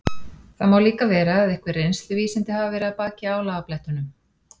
Það má líka vera að einhver reynsluvísindi hafi verið að baki álagablettunum.